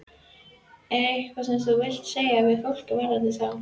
Er eitthvað sem þú vilt segja við fólk varðandi þá?